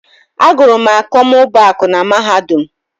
Agụrụ m akọmmụbaaku na Mahadum.